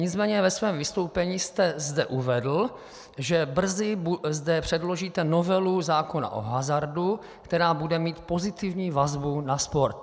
Nicméně ve svém vystoupení jste zde uvedl, že brzy zde předložíte novelu zákona o hazardu, která bude mít pozitivní vazbu na sport.